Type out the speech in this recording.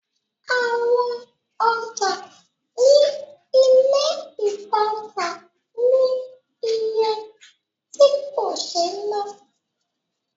Awọn ọjà ní ilé ìtajà ní iye tí kò sé ná